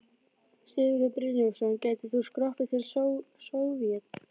Sigurður Brynjólfsson: gætir þú skroppið til Sovét?